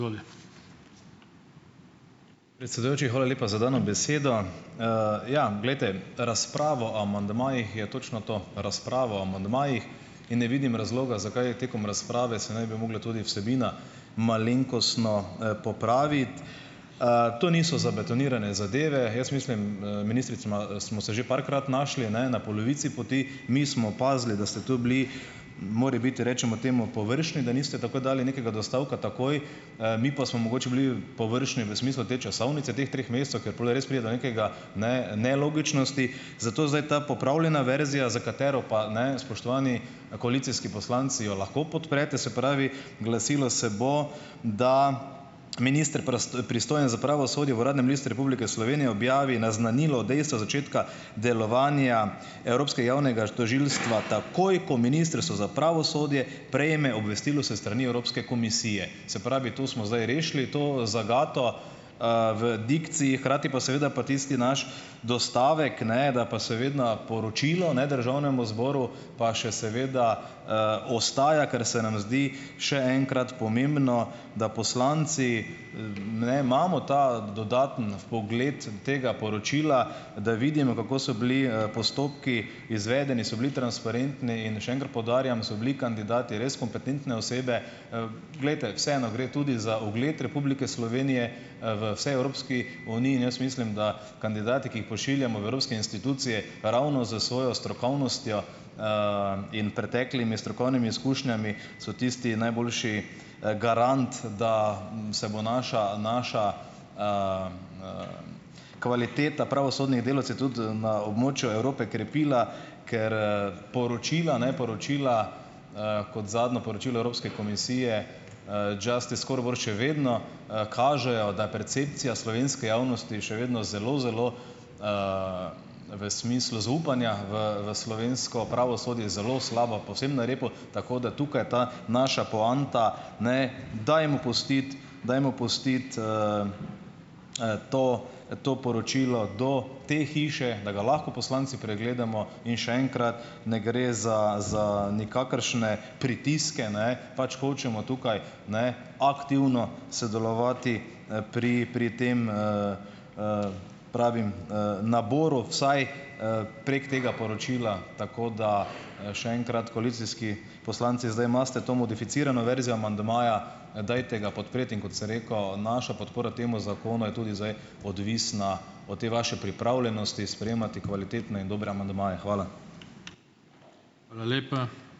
Predsedujoči, hvala lepa za dano besedo. ja, glejte, razprava o amandmajih je točno to, razprava o amandmajih, in ne vidim razloga, zakaj tekom razprave se ne bi mogla tudi vsebina malenkostno, popraviti. To niso zabetonirane zadeve. Jaz mislim, ministrica, smo se že parkrat našli, ne, na polovici poti, mi smo opazili, da ste tu bili morebiti, recimo temu, površni, da niste takoj dali nekega dostavka takoj. Mi pa smo mogoče bili površni v smislu te časovnice teh treh mesecev, ker pol res pride do nekega, ne, nelogičnosti. Zato zdaj ta popravljena verzija, za katero pa, ne, spoštovani, koalicijski poslanci, jo lahko podprete. Se pravi, glasilo se bo, da "minister, pristojen za pravosodje, v Uradnem listu Republike Slovenije objavi naznanilo dejstva začetka delovanja evropskega javnega tožilstva takoj, ko Ministrstvo za pravosodje prejme obvestilo s strani Evropske komisije". Se pravi, to smo zdaj rešili to zagato, v dikciji, hkrati pa seveda je pa tisti naš dostavek, ne da pa seveda poročilo ne državnemu zboru, pa še seveda, ostaja, ker se nam zdi, še enkrat, pomembno, da poslanci, ne, imamo ta dodatni vpogled tega poročila, da vidimo, kako so bili, postopki izvedeni, so bili transparentni. In še enkrat poudarjam, so bili kandidati res kompetentne osebe. Glejte, vseeno gre tudi za ugled Republike Slovenije, v vsej Evropski uniji. In jaz mislim, da kandidati, ki jih pošiljamo v evropske institucije, ravno z svojo strokovnostjo, in preteklimi strokovnimi izkušnjami so tisti najboljši, garant, da, se bo naša naša, kvaliteta pravosodnih delavcev tudi na območju Evrope krepila, ker, poročila, ne, poročila, kot zadnjo poročilo Evropske komisije Justice Scoreboard še vedno, kažejo, da je percepcija slovenske javnosti še vedno zelo zelo, v smislu zaupanja v v slovensko pravosodje zelo slabo, povsem na repu. Tako da tukaj ta naša poanta, ne, dajmo pustiti dajmo pustiti, to, to poročilo do te hiše, da ga lahko poslanci pregledamo. In še enkrat, ne gre za za nikakršne pritiske, ne, pač hočemo tukaj, ne, aktivno sodelovati, pri pri tem, pravim, naboru vsaj, prek tega poročila. Tako da, še enkrat, koalicijski poslanci zdaj imate to modificirano verzijo amandmaja. Dajte ga podpreti. In kot sem rekel, naša podpora temu zakonu je tudi zdaj odvisna od te vaše pripravljenosti sprejemati kvalitetne in dobre amandmaje. Hvala.